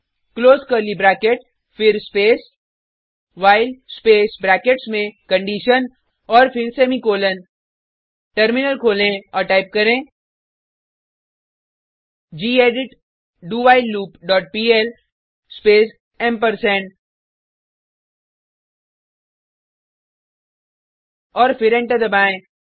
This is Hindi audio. क्लोज कर्ली ब्रैकेट फिर स्पेस व्हाइल स्पेस ब्रैकेट्स में कंडीशन औऱ फिर सेमीकॉलन टर्मिनल खोलें और टाइप करें gedit do while loop dot PL space ampersand और फिर एंटर दबाएँ